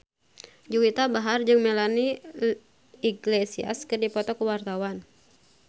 Juwita Bahar jeung Melanie Iglesias keur dipoto ku wartawan